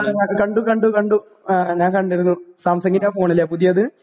ആ കണ്ടു കണ്ടു കണ്ടു. ഞാൻ കണ്ടിരുന്നു. സാംസങിന്റെ ആ ഫോൺ അല്ലേ? പുതിയത്?